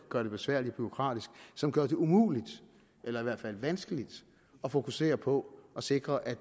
gøre det besværligt og bureaukratisk som gør det umuligt eller i hvert fald vanskeligt at fokusere på at sikre at